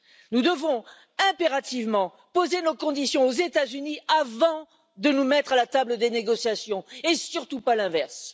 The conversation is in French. Nous devons impérativement poser nos conditions aux États Unis avant de nous mettre à la table des négociations, et surtout pas l'inverse!